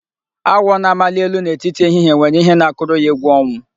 Awọ na-amali elu n'etiti ehihie nwere ihe na-akụrụ ya egwu ọnwụ.